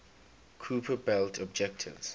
kuiper belt objects